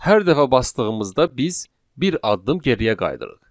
Hər dəfə basdığımızda biz bir addım geriyə qayıdırıq.